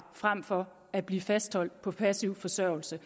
frem for at blive fastholdt på passiv forsørgelse